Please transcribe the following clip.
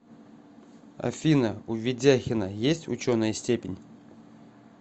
афина у ведяхина есть ученая степень